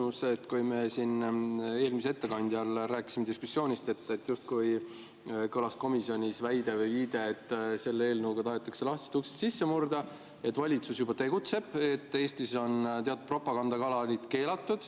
Mul on küsimus, et kui me siin eelmise ettekandjaga rääkisime diskussioonist, siis justkui oli kõlanud komisjonis väide või viide, et selle eelnõuga tahetakse lahtisest uksest sisse murda, et valitsus juba tegutseb ja Eestis on teatud propagandakanalid keelatud.